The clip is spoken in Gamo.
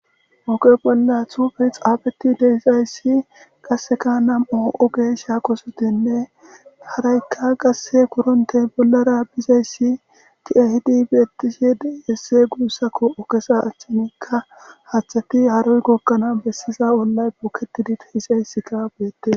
Ooqe bolla tufi xaafeti deyxayssi qaseka nam'o'o gesha kosotinne haraykka qasse kuronte bollara bizayssi kiahidi bietishe esse guussakko okesa achchinikka haaththati haroy gokkana bessiza ollay boketidi teixayssika beette